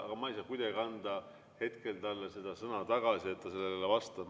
Aga ma ei saa kuidagi anda talle sõna tagasi, et ta sellele vastaks.